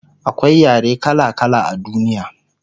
akwai yare kala kala a duniya